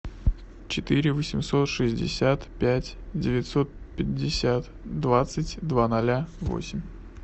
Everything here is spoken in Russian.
четыре восемьсот шестьдесят пять девятьсот пятьдесят двадцать два ноля восемь